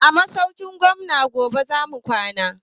A masaukin gwamnan yobe zamu kwana